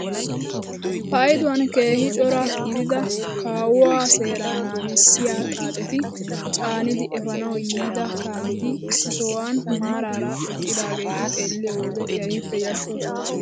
Paydduwaan keehi cora gidida kawuwaa seeraa naagissiyaa xaacetta caanidi epanawu yiida kaameti issi sohuwaan maarara eqqidaageti xeelliyoo wode kehippe yashshoosona!